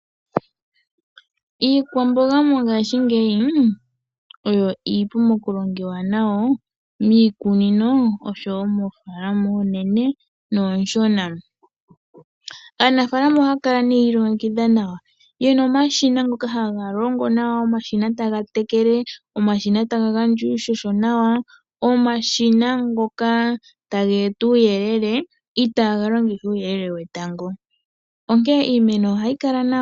Iikwamboga mongashingeyi oyo iipu mokulongiwa nayo miikunino nomoofaalama oonene noonshona. Aanafaalama ohaya kala ihe yi ilongekidha nawa, ye na omashina ngoka haga longo nawa, omshina taga tekele, omashina taga gandja uuhoho nawa, omashina ngoka taga eta uuyelele itaaga longitha uuyelele wetango, onkene iimeno ohayi kala nawa.